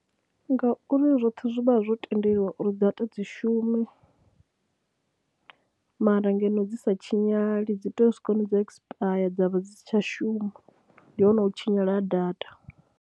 Ngauri zwoṱhe zwi vha zwo tendelwa uri data dzi shume mara ngeno dzi sa tshinyale, dzi tea u swika hune dza ekisipayare dza vha dzi si tsha shuma. Ndi hone u tshinyala ha data.